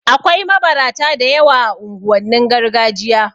Akwai mabarata da yawa a unguwannin gargajiya